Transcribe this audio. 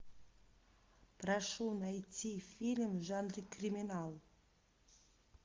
прошу найти фильм в жанре криминал